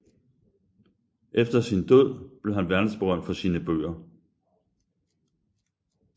Efter sin død blev han verdensberømt for sine bøger